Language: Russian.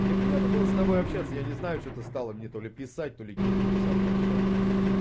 мне приятно было с тобой общаться я не знаю что ты стало мне то ли писать то ли гифками со мной общаться